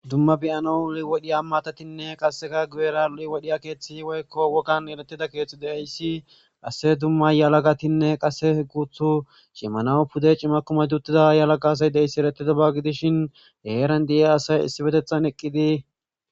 dumma biyano liwodhiyammatatinne qasseka gueera liwodhiya keeththi woykko wogan eletida keeththi deayssi qasse dumma yalagatinne qase guthu shimanawu pude cima kumadutida yalaqa asay deyssi eretidaba gidishin heeran di7e asay issi betethan eqqidi